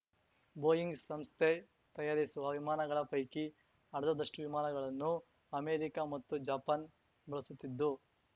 Boeing ಸಂಸ್ಥೆ ತಯಾರಿಸುವ ವಿಮಾನಗಳ ಪೈಕಿ ಅರ್ಧದಷ್ಟು ವಿಮಾನಗಳನ್ನು ಅಮೆರಿಕಾ ಮತ್ತು ಜಪಾನ್ ಬಳಸುತ್ತಿದ್ದು